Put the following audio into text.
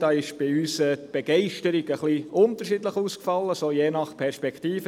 Da ist die Begeisterung bei uns unterschiedlich ausgefallen, je nach Perspektive.